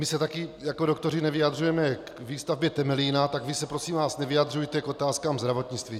My se taky jako doktoři nevyjadřujeme k výstavbě Temelína, tak vy se, prosím vás, nevyjadřujte k otázkám zdravotnictví.